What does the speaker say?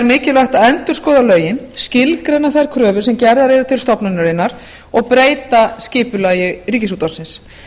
mikilvægt að endurskoða lögin skilgreina þær kröfur sem gerðar eru til stofnunarinnar og breyta skipulagi ríkisútvarpsins